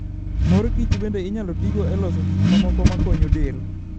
Mor kich bende inyalo tigo e loso gik mamoko makonyo del.